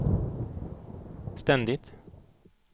ständigt